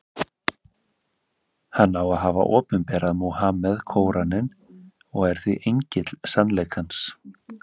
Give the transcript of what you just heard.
Hann á að hafa opinberað Múhameð Kóraninn, og er því engill sannleikans.